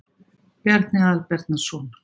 Bjarni Aðalbjarnarson.